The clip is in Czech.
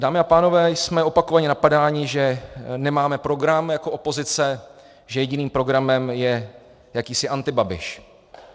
Dámy a pánové, jsme opakovaně napadáni, že nemáme program jako opozice, že jediným programem je jakýsi antibabiš.